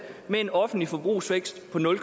med en offentlig forbrugsvækst på nul